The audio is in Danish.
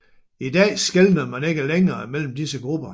I dag skelner man ikke længere mellem disse grupper